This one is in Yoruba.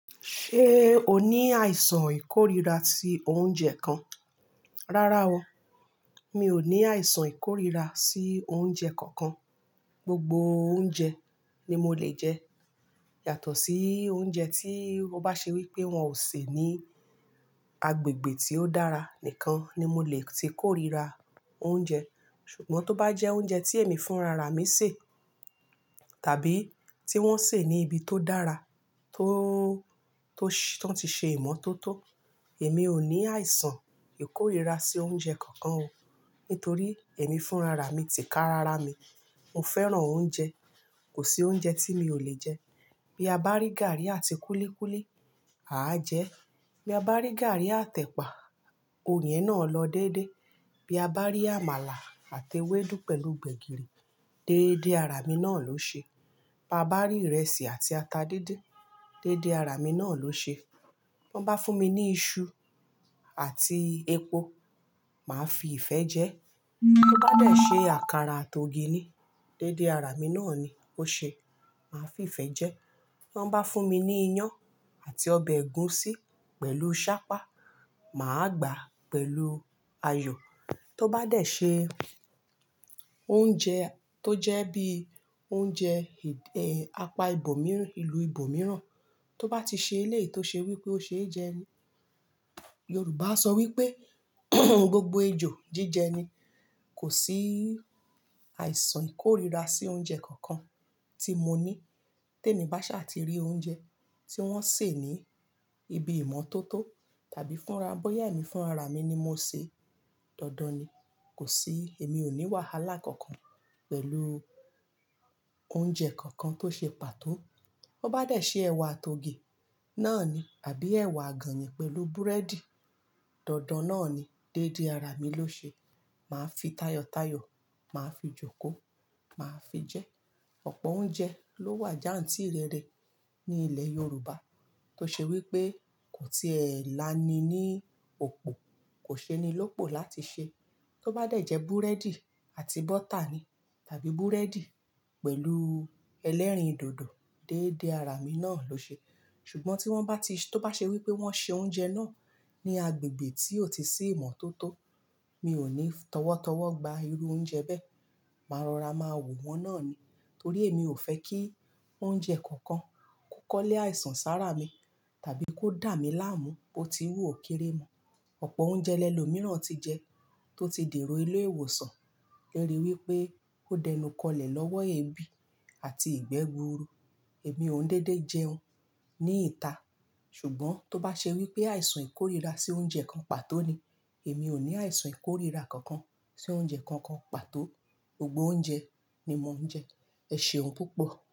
Ṣé o ní àìsàn ìkórira sí oúnjẹ kan? Rárá o. Mi ò ní àìsàn ìkórira sí oúnjẹ kankan. Gbogbo oúnjẹ ni mo lè jẹ. Yàtọ̀ sí oúnjẹ tí wọ́n bá ṣe wípé wón ò sè ní agbègbè tí ó dára nìkan ni mo lè ti kórira oúnjẹ. Ṣùgbọ́n tó bá jẹ́ oúnjẹ tí èmi fúnra ra mi sè, tàbí tí wón sè ní ibi tó dára, tó, tó ti ṣe ìmọ́tótó, èmi ò ní àìsàn ìkórira sí oúnjẹ kankan o. Nítorí èmi fúnra ra mi ti ká rárá mi. Mo fẹ́ràn oúnjẹ. Kò sí oúnjẹ tí mi ò lè jẹ. Bí a bá rí gàrí àti kúlíkúlí, àá jẹ. Bí a bá rí gàrí àtẹ̀pà, oún ye náà lọ dédé. Bí a bá rí àmàlà àti ewédú pẹ̀lú gbẹ̀gìrì, déédé ara mi náà ló ṣe. Bí a bá rí ìrẹsì àti ata dindin, déédé ara mi náà ló ṣe. Wọ́n bá fún mi ní iṣu àti epo, màá fi ìfẹ́ jẹ. Tó bá dẹ̀ ṣe àkàrà àti ògì ni, déédé ara mi náà ni ó ṣe. Màá fi ìfẹ́ jẹ. Tọ́n bá fún mi ní iyán àti ọbẹ̀ ẹ̀gúsí pẹ̀lú sápá, mà á gbàá pẹ̀lú ayọ̀. Tó bá dẹ̀ ṣe oúnjẹ tó jẹ́ bí i oúnjẹ, eh, apá ibo mìíràn, ìlú ibo mìíràn, tó bá ti ṣe eléyìí tó ṣe wípé ó ṣe é jẹ ni. Yorùbá sọ wípé gbogbo ejò jíjẹ ni. Kò sí àìsàn ìkórira sí oúnjẹ kankan tí mo ní. Tẹ́ mi bá ṣà ti rí oúnjẹ tí wọ́n sè ní ibi ìmọ́tótó tàbí fúnra, bóyá èmi fúnra ra mi ni mo sè, dandan ni. Kò sí-- èmi ò ní wàhálà kankan pẹ̀lú oúnjẹ kankan tó ṣe pàtó. Ó bá dẹ̀ ṣe ẹ̀wà àti ògì, náà ni, àbí ẹ̀wà àgànyìn pẹ̀lú búrẹ́dì, dandan náà ni déédé ara mi ló ṣe. Màá fi táyọ́tayọ́, mà á fi jòkó, mà á fi jẹ. Ọ̀pọ̀ oúnjẹ ló wà jantìrẹrẹ ní ilẹ̀ Yorùbá tó ṣe wípé kò ti ẹlà ni ní òpó, kò ṣe ni lópo láti ṣe. Tó bá dẹ̀ jẹ búrẹ́dì àti bọ́tà ni tàbí búrẹ́dì pẹ̀lú ẹlẹ́rìndòdò, déédé ara mi náà ló ṣe. Ṣùgbọ́n tí wọ́n bá ti-- tó bá ṣe wípé wọ́n ṣe oúnjẹ náà ní agbègbè tí ò tíì sí ìmọ́tótó, mi ò ní tọ́wọ́tọ́wọ́ gba irú oúnjẹ bẹ́ẹ̀. Màá rọra, màá wò wọ́n náà ni. Torí èmi ò fẹ́ kí oúnjẹ kankan kokọ́lé àìsàn sára mi tàbí kó dà mí láàmú, bó ti wú òkéré mo. Ọ̀pọ̀ oúnjẹ lẹ́lo mìíràn ti jẹ tó ti dè ro ìle iwọ̀sàn lori wípé ó dẹnukọlẹ̀ lọ́wọ́ ebi àti ìgbẹ́ gbuuru. Èmi ò dédé jẹun ní ìta. Ṣùgbọ́n tó bá ṣe wípé àìsàn ìkórira sí oúnjẹ kan pàtó ni, èmi ò ní àìsàn ìkórira kankan sí oúnjẹ kankan pàtó. Gbogbo oúnjẹ ni mò ń jẹ. Ẹ ṣeun púpọ̀.